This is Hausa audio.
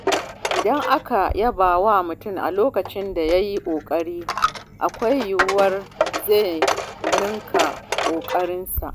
Idan aka yaba wa mutum a lokacin da ya yi ƙoƙari, akwai yiwuwar zai ninka ƙoƙarinsa.